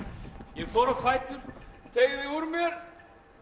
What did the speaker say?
ég fór á fætur teygði úr mér